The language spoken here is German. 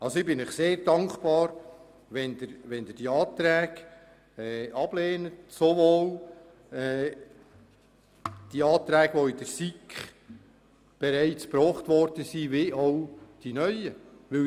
Ich bin Ihnen sehr dankbar, wenn Sie, sowohl die Anträge, die in der SiK bereits eingebracht wurden wie auch die neuen ablehnen.